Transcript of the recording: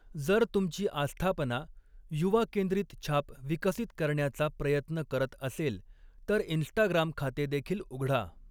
जर तुमची आस्थापना युवा केंद्रित छाप विकसित करण्याचा प्रयत्न करत असेल, तर इन्स्टाग्राम खाते देखील उघडा.